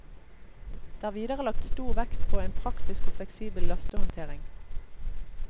Det er videre lagt stor vekt på en praktisk og fleksibel lastehåndtering.